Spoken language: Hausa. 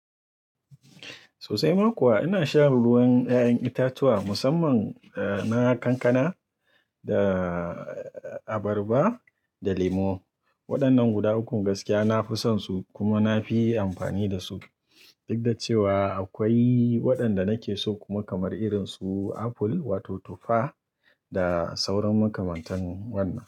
Sosai ma kuwa ina shan ruwan ƴaƴan itatuwa musamman na kankana da abarba da lemo. Waɗannan guda ukun gaskiya nafi son su kuma nafi amfani dasu. Duk da cewa akwai waɗanda nake so kuma kamar irin su apple wato tufa da sauran makamantan wannan.